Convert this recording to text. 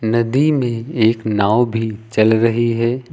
नदी में एक नांव भी चल रही है।